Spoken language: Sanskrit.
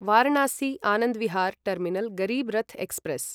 Varanasi Anand Vihar terminal Garib Rath express